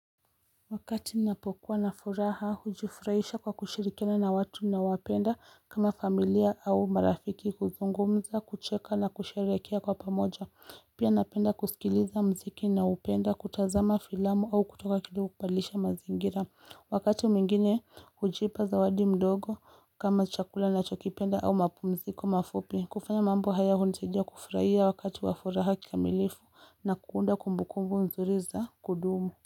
Wakati ninapokuwa na furaha, hujufurahisha kwa kushirikiana na watu ninaowapenda kama familia au marafiki kuzungumza kucheka na kusherekea kwa pamoja pia napenda kusikiliza mziki, naupenda kutazama filamu au kutoka kidogo kubadilisha mazingira Wakati mwingine hujipa zawadi mdogo kama chakula nachokipenda au mapumziko mafupi. Kufanya mambo haya hunisadia kufurahia wakati wa furaha kikamilifu na kuunda kumbu kumbu nzuri za kudumu.